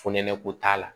Fonɛnɛ ko t'a la